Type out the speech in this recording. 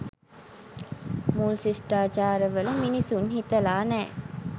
මූල් ශිෂ්ඨාචාරවල මිනිසුන් හිතලා නෑ.